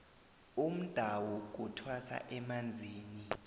umdawu kuthwasa emanzini